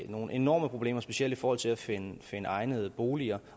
nogle enorme problemer specielt i forhold til at finde egnede boliger